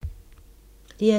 DR2